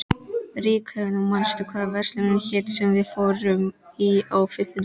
Ríkharður, manstu hvað verslunin hét sem við fórum í á fimmtudaginn?